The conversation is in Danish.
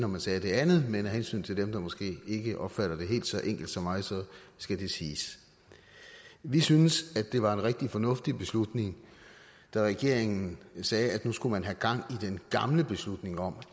man sagde det andet men af hensyn til dem der måske ikke opfatter det helt så enkelt som mig skal det siges vi synes det var en rigtig fornuftig beslutning da regeringen sagde at nu skulle man have gang i den gamle beslutning om